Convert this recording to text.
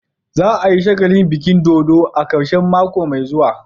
Za a yi shagalin biki dodo a karshen mako mai zuwa.